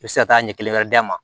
I bɛ se ka taa ɲɛ kelen wɛrɛ d'a ma